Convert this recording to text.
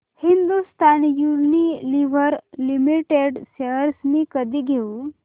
Hindustan Unilever limited shares मी कधी घेऊ